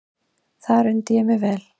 Þar undi ég mér vel.